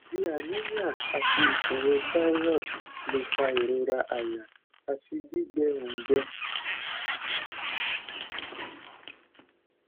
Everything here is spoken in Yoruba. bi anemia ati iṣoro thyroid le fa irora aya ati gbigbẹ oungbe